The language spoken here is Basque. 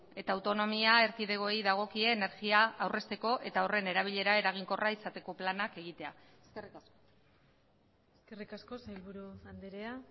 eta autonomia erkidegoei dagokie energia aurrezteko eta horren erabilera eraginkorra izateko planak egitea eskerrik asko eskerrik asko sailburu andrea